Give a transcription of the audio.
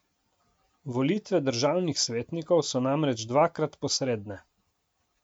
Volitve državnih svetnikov so namreč dvakrat posredne.